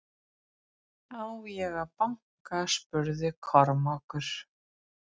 Á ég að banka spurði Kormákur.